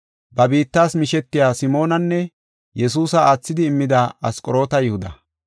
ba biittas mishetiya Simoonanne Yesuusa aathidi immida Asqoroota Yihuda.